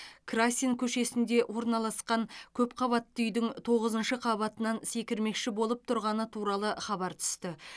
красин көшесінде орналасқан көпқабатты үйдің тоғызыншы қабатынан секірмекші болып тұрғаны туралы хабар түсті